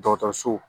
Dɔgɔtɔrɔso